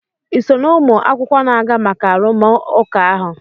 ị so na ụmụ akwụkwọ na-aga maka arụmụka ahụ?